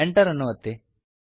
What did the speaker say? Enter ಅನ್ನು ಒತ್ತಿ